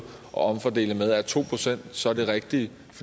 at omfordele med er to procent så det rigtige